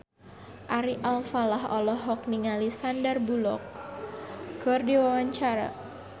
Ari Alfalah olohok ningali Sandar Bullock keur diwawancara